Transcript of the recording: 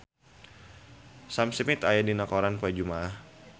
Sam Smith aya dina koran poe Jumaah